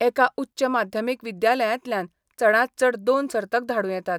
एका उच्च माध्यमिक विद्यालयातल्यान चडात चड दोन सर्तक धाडूं येतात.